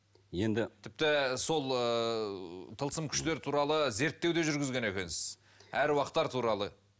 енді тіпті сол ыыы тылсым күштер туралы зерттеу де жүргізген екенсіз аруақтар туралы